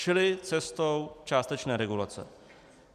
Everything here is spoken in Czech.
Šli cestou částečné regulace.